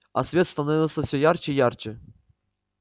а свет становился всё ярче и ярче